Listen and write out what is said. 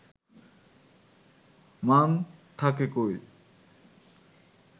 মান থাকে কই